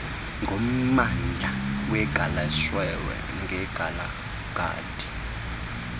ngommandla wegaleshewe nekgalagadi